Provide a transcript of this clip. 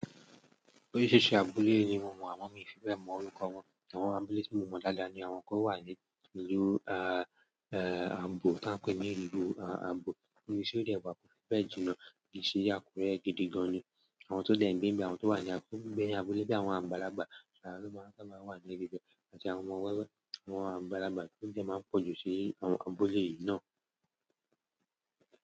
Oríṣiríṣi abúlé ni mo mọ̀ àmọ mi fíbẹ́ mọ orúkọ wọn. Àwọn abúlé tí mo mọ̀ dáadáa ni àwọn tó wà ní ìlú a, e, ààbò tá ń pè ní ìlú a, ààbò. Ní ibi tí ó dẹwà ko fíbẹ́ jìnnà kìṣe àkuré gidi gan-an ni àwọn tó gbe nbe, àwọn tó wà ní abúlé bí àwọn àgbàlagbà àwọn ló máa ń sábà wà ní ibi bẹ́ẹ̀ àti àwọn ọmọ wẹ́wẹ́ àwọn àgbàlagbà ló dẹ́ máa ń pọ̀jù sí àwọn abúlé yìí náà.